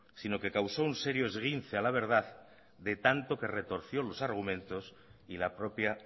sino que causó un serio esguince a la verdad de tanto que retorció los argumentos y la propia